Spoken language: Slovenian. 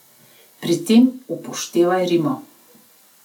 Pri tem upoštevaj rimo.